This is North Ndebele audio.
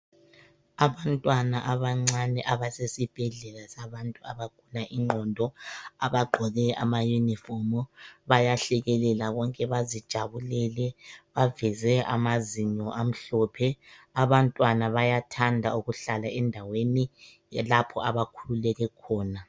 Abantwana abancani abasesibhedlela sabantu abagula ingqondo abagqoke amayinifomu bayahlekelela bonke bazijabulele baveze amazinyo amhlophe. Abantwana bayathanda ukuhlala endaweni lapho abakhululeke khona.